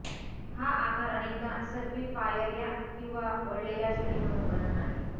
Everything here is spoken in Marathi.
हा आकार अनेकदा सर्पिल पायर्या किंवा वळलेला शिडी म्हणून वर्णन आहे